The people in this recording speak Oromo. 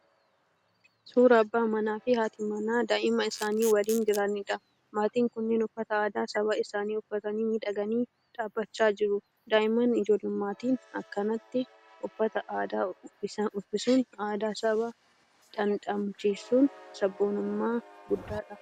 Suuraa abba manaa fi haati manaa daa'ima isaanii waliin jiraniidha. Maatiin kunneen uffata aadaa saba isaanii uffatanii miidhaganii dhaabbachaa jiru. Daa'immaan ijoollummaatti akkanatti uffata aadaa uffisuun aadaa sabaa dhandhamachiisuun sabboonummaa guddaadha.